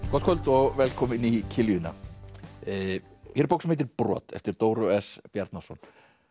kvöld og velkomin í kiljuna hér er bók sem heitir brot eftir Dóru s Bjarnason